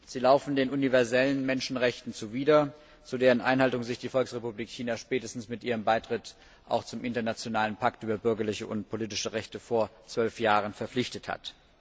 Sie laufen den universellen Menschenrechten zuwider, zu deren Einhaltung sich die Volksrepublik China spätestens mit ihrem Beitritt zum Internationalen Pakt über bürgerliche und politische Rechte vor 12 Jahren verpflichtet hat.